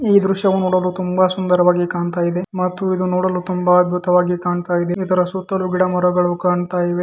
ಈ ದೃಶ್ಯವು ನೋಡಲು ತುಂಬಾ ಸುಂದರವಾಗಿ ಕಾಣ್ತಾ ಇದೆ ಮತ್ತು ಇದು ನೋಡಲು ತುಂಬಾ ಅದ್ಭುತವಾಗಿ ಕಾಣ್ತಾ ಇದೆ ಇದರ ಸುತ್ತಲೂ ಗಿಡ ಮರಗಳು ಕಾಣ್ತಾ ಇವೆ.